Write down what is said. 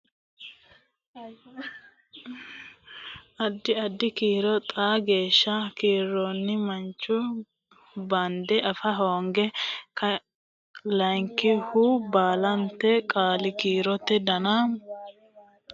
addi addi kiiro xaa geeshsha kiirino mancho bande afa hooga Layinkihu baalanta qaali kiirote dona mamoote kiirroonniro assinoonniro murantino yanna afa hooga sayikkiti addi addi qaali kiiro doni baikkinni seeda yanna.